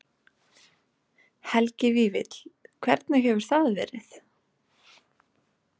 Helgi Vífill: Hvernig hefur það verið?